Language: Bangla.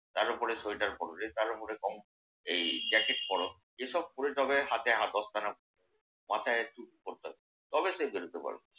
তার ওপরে সোয়েটার পড়োরে তার ওপর জ্যাকেট পড়ো। এসব পড়ে তবে হাতে দস্তানা পড়ে তবে সে বেরোতে পারবে।